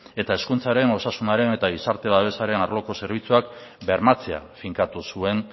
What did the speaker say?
eta hezkuntzaren osasunaren eta gizarte babesaren arloko zerbitzuak bermatzea finkatu zuen